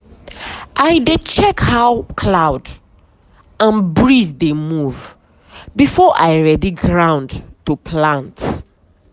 i dey check how cloud and breeze dey move before i ready ground to plant.